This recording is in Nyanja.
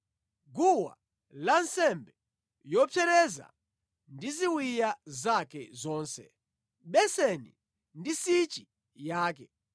guwa lansembe yopsereza ndi ziwiya zake zonse, beseni ndi nsichi yake,